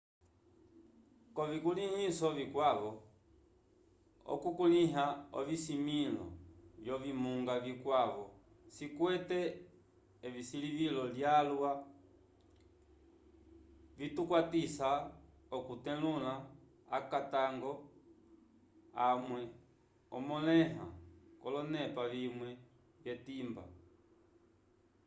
k'ovikulĩhiso vikwavo okukulĩha ovisimĩlo vyovimunga vikwavo cikwete esilivilo lyalwa vitukwatisa okutetulula akatango amwe amõleha k'olonepa vimwe vyetimba